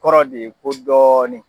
Kɔrɔ de ye ko dɔɔnin!